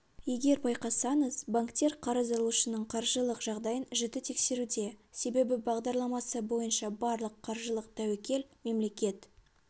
егер байқасаңыз банктер қарыз алушының қаржылық жағдайын жіті тексеруде себебі бағдарламасы бойынша барлық қаржылық тәуекел мемлекет